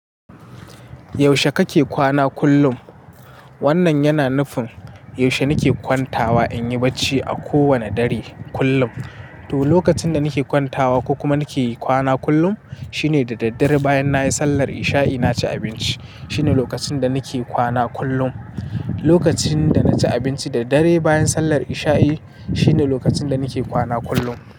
Yaushe kake kwana kullum? Wannan yana nufin, yaushe nike kwantawa in yi bacci a kowane dare kullum? To, lokacin da nike kwantawa ko kuma nike kwana kullum, shine da daddare bayan nayi sallar isha'i naci abinci. Shine lokacin da nike kwana kullum. Lokacin da naci abinci da dare bayan sallar isha'i shine lokacin da nike kwana kullum.